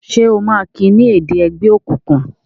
ṣe o ma ki ni èdè ègbé òkùnkùn?